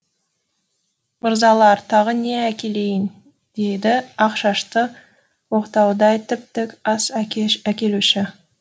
мырзалар тағы не әкелейін деді ақ шашты оқтаудай тіп тік ас әкелуші